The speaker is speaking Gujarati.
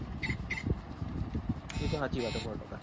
એ તો સાચી વાત છે સો ટકા